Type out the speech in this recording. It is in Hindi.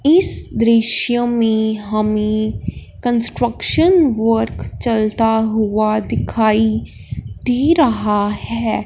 इस दृश्य में हमें कंस्ट्रक्शन वर्क चलता हुआ दिखाई दे रहा है।